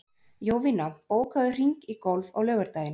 Jovina, bókaðu hring í golf á laugardaginn.